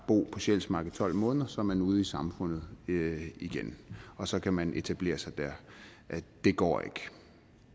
bo på sjælsmark i tolv måneder og så er man ude i samfundet igen og så kan man etablere sig der det går ikke